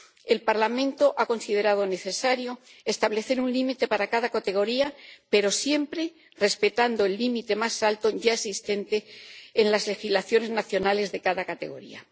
El Parlamento ha considerado necesario establecer un límite para cada categoría, pero siempre respetando el límite más alto ya existente en las legislaciones nacionales para cada categoría.